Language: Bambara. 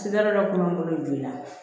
Sida dɔ tun b'an bolo joona